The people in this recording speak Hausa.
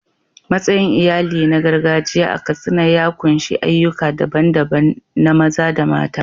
Matsayin iyali na gargajiya a Katsina ya ƙunshi ayyuka daban-daban na maza da mata.